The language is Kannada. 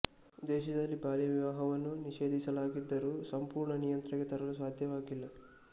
ದೇಶದಲ್ಲಿ ಬಾಲ್ಯ ವಿವಾಹವನ್ನು ನಿಷೇಧಿಸಲಾಗಿದ್ದರೂ ಸಂಪೂರ್ಣ ನಿಯಂತ್ರಣಕ್ಕೆ ತರಲು ಸಾಧ್ಯವಾಗಿಲ್ಲ